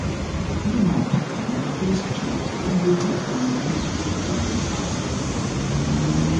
broom and packer na my best tools dem dey help um me sweep um fast um